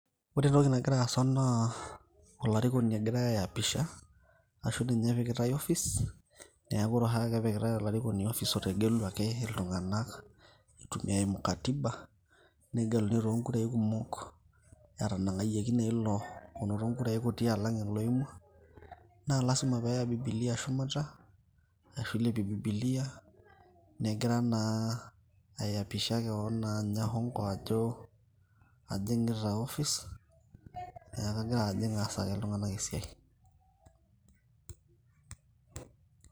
ore entoki nagira aasa naa olarikoni egirae ae apisha ashu ninye epikitae office niaku ore oshi ake epikitae olarikoni office otegeluaki iltung'anak itumia eimu katiba negeluni toonkurai kumok etanang'ayieki naa ilo onoto inkurai kuti alang oloimua naa lasima peeya bibilia shumata ashu ilepie bibilia negira naa aiyapisha kewon naa anya hongo ajo ajing'ita office niaku kagira ajing aasaki iltung'anak esiai.